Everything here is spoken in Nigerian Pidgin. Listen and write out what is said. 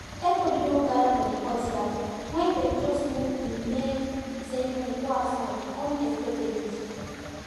everybody don gather for the courtyard when then just move the main ceremony go outside unexpectedly